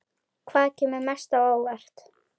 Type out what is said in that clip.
Hvaða kemur mest á óvart?